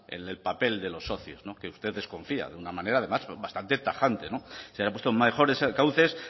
en el papel de los socios que usted desconfía además de una manera además bastante tajante no se han puesto mejores cauces